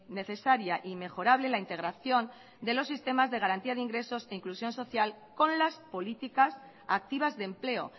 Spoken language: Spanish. necesaria y mejorable la integración de los sistemas de garantía de ingresos e inclusión social con las políticas activas de empleo